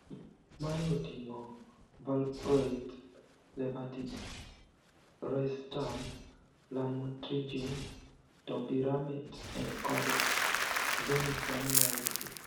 Mae oting`o valproate, levetiracetam, lamotrigine, topiramate kod zonisamide.